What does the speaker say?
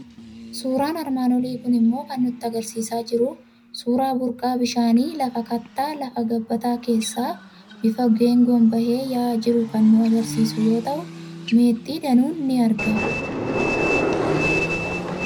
Suuraan armaan olii kun immoo kan inni nutti argisiisaa jiru, suuraa burqaa bishaanii lafa kattaa, lafa gabbataa keessaa bifa geengoon bahee yaa'aa jiruu kan nu argisiisu yoo ta'u, meexxii danuun ni argama.